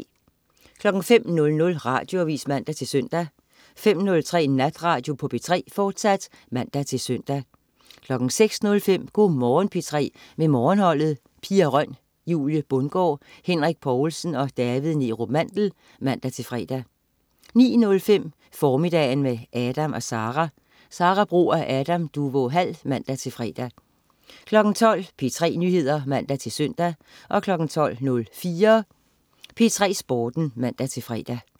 05.00 Radioavis (man-søn) 05.03 Natradio på P3, fortsat (man-søn) 06.05 Go' Morgen P3 med Morgenholdet. Pia Røn, Julie Bundgaard, Henrik Povlsen og David Neerup Mandel (man-fre) 09.05 Formiddagen med Adam & Sara. Sara Bro og Adam Duvå Hall (man-fre) 12.00 P3 Nyheder (man-søn) 12.04 P3 Sporten (man-fre)